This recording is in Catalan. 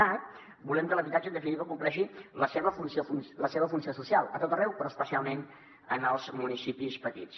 cat volem que l’habitatge en definitiva compleixi la seva funció social a tot arreu però especialment en els municipis petits